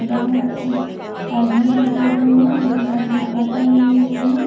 बाहर में एक आदमी भी चल रहे हैं जोकि हाथ में छाता लिए हुए हैं।